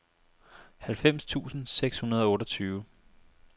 halvfems tusind seks hundrede og otteogtyve